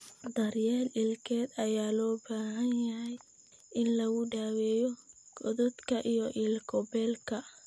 Daryeel ilkeed ayaa loo baahan yahay in lagu daweeyo godadka iyo ilko beelka.